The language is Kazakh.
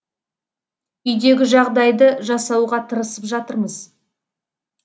үйдегі жағдайды жасауға тырысып жатырмыз